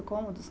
cômodos.